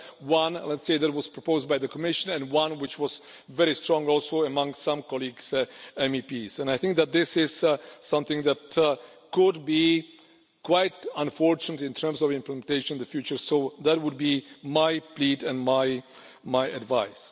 One, let's say, that was proposed by the Commission and one which was very strong also among some colleagues, MEPs, and I think that this is something that could be quite unfortunate in terms of implementation in the future, so that would be my plea and my advice.